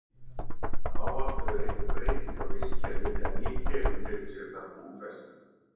Ávallt verður einhver breyting á vistkerfi þegar ný tegund tekur sér þar búfestu.